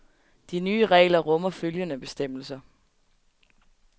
De nye regler rummer følgende bestemmelser.